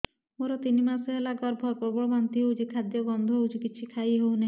ମୋର ତିନି ମାସ ହେଲା ଗର୍ଭ ପ୍ରବଳ ବାନ୍ତି ହଉଚି ଖାଦ୍ୟ ଗନ୍ଧ ହଉଚି କିଛି ଖାଇ ହଉନାହିଁ